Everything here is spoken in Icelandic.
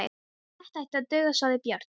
Þetta ætti að duga, sagði Björn.